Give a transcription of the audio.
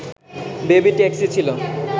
baby taxi ছিল